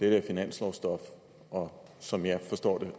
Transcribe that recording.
er finanslovsstof og som jeg forstår det